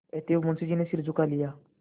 अतएव मुंशी जी ने सिर झुका लिया